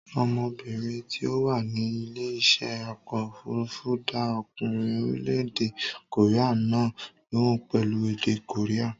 Ọmọbìnrin tí ó wà ní ilé iṣẹ́ ọkọ̀ òfurufú dá ọkùnrin orílẹ̀-èdè kòréà náà lóhùn pẹ̀lú èdè kòréà.